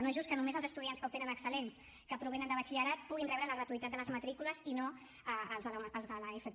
no és just que només els estudiants que obtenen excel·lents que provenen de batxillerat puguin rebre la gratuïtat de les matrícules i no els de l’fp